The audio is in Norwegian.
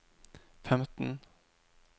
femten